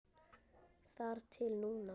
Þar til núna.